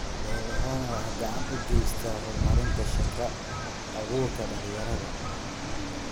Beerahani waxa uu gacan ka geystaa horumarinta shaqo abuurka dhalinyarada.